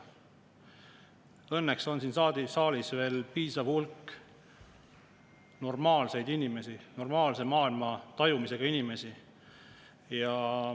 Õnneks on siin saalis veel piisav hulk normaalseid inimesi, normaalse maailmatajuga inimesi.